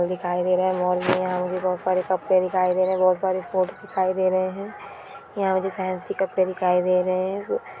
दिखाई दे रहा है। माल नहीं आऊंगी बहुत सारे कपड़े दिखाई दे रहे है। बहुत सारी फोटो दिखाई दे रहे है। यहां मुझे फैंसी कपड़े दिखाई दे रहे है।